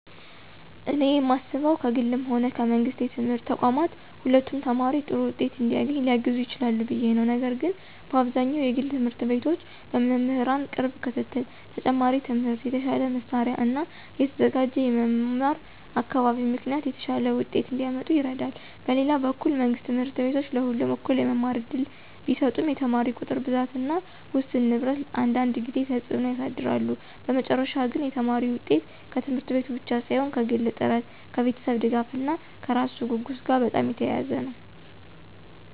እኔ የማስበው ከግልም ሆነ ከመንግሥት የትምህርት ተቋማት ሁለቱም ተማሪ ጥሩ ውጤት እንዲያገኝ ሊያግዙ ይችላሉ ብዬ ነው፤ ነገር ግን በአብዛኛው የግል ት/ቤቶች በመምህራን ቅርብ ክትትል፣ ተጨማሪ ትምህርት፣ የተሻለ መሳሪያ እና የተዘጋጀ የመማር አካባቢ ምክንያት የተሻለ ውጤት እንዲያመጡ ይረዳሉ። በሌላ በኩል መንግሥት ት/ቤቶች ለሁሉም እኩል የመማር እድል ቢሰጡም የተማሪ ቁጥር ብዛት እና ውስን ንብረት አንዳንድ ጊዜ ተጽዕኖ ያሳድራሉ። በመጨረሻ ግን የተማሪ ውጤት ከት/ቤቱ ብቻ ሳይሆን ከግል ጥረት፣ ከቤተሰብ ድጋፍ እና ከራሱ ጉጉት ጋር በጣም የተያያዘ ነው።